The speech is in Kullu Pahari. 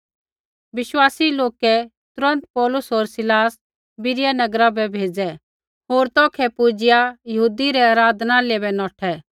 बिश्वासी लोकै तुरन्त पौलुस होर सीलास बीरिया नगरा बै भेज़ै होर तौखै पुजिआ यहूदी रै आराधनालय बै नौठै